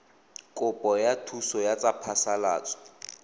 kopo ya thuso ya phasalatso